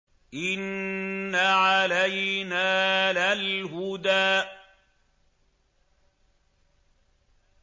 إِنَّ عَلَيْنَا لَلْهُدَىٰ